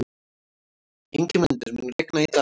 Ingimundur, mun rigna í dag?